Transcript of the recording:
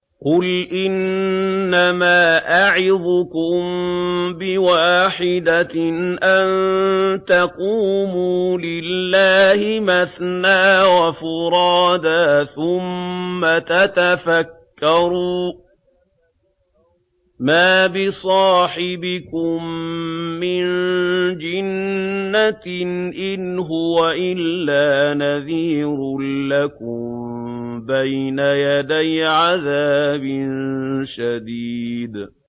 ۞ قُلْ إِنَّمَا أَعِظُكُم بِوَاحِدَةٍ ۖ أَن تَقُومُوا لِلَّهِ مَثْنَىٰ وَفُرَادَىٰ ثُمَّ تَتَفَكَّرُوا ۚ مَا بِصَاحِبِكُم مِّن جِنَّةٍ ۚ إِنْ هُوَ إِلَّا نَذِيرٌ لَّكُم بَيْنَ يَدَيْ عَذَابٍ شَدِيدٍ